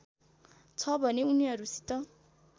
छ भने उनीहरूसित